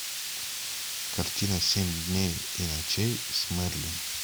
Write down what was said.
картина семь дней и ночей с мэрилин